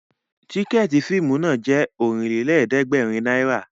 Tìkẹ̀ẹ̀tí fíìmù náà jẹ́ Ọ̀rìnlélẹ̀ẹ̀dẹ́gbèrin náírà